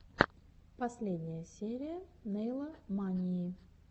последняя серия нэйла мании